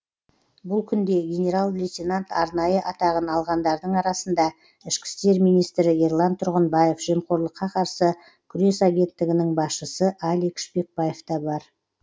бұл күнде генерал лейтенант арнайы атағын алғандардың арасында ішкі істер министрі ерлан тұрғынбаев жемқорлыққа қарсы күрес агенттігінің басшысы алик шпекбаев та бар